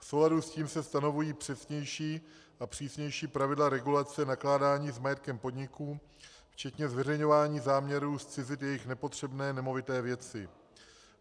V souladu s tím se stanovují přesnější a přísnější pravidla regulace nakládání s majetkem podniků včetně zveřejňování záměrů zcizit jejich nepotřebné nemovité věci.